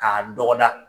K'a dɔgɔda